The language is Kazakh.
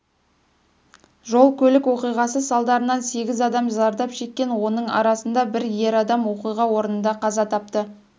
жол-көлік оқиғасы салдарынан сегіз адам зардап шеккен оның арасында бір ер адам оқиға орнында қаза тапты